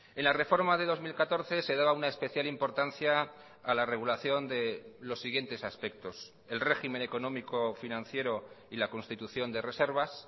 en la reforma de dos mil catorce se daba una especial importancia a la regulación de los siguientes aspectos el régimen económico financiero y la constitución de reservas